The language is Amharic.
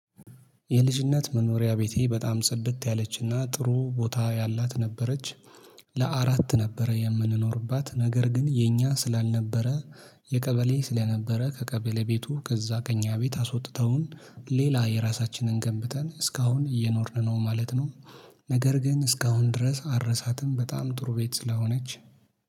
የልጅነት መኖሪያ ቤቴ በጣም ጽድት ያለችና ጥሩ ቦታ ያላት ነበረች። ለአራት ነበረ የምንኖርባት ነገር ግን የኛ ስላልነበረ። የቀበሌ ስለነበረ ከቀበሌ ቤቱ ከዛ ከኛ ቤት አስወጥተውን ሌላ የራሳችንን ገንብተን እስካሁን እየኖርን ነው ማለት ነው። ነገር ግን እስካሁን ድረስ አልረሳትም በጣም ጥሩ ቤት ስላሆነች